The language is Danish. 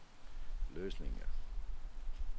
løsninger